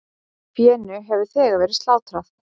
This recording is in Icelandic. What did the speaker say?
Fénu hefur þegar verið slátrað.